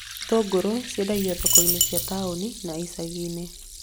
Itũngũrũ ciendagio thoko-inĩ cia taũni na icagi-inĩ